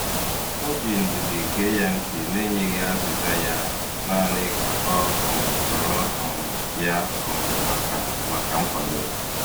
O ji ndidi gee ya ntị n'enyeghị azịza ya, naanị ka ọ um nọrọ um ya um maka maka nkwado.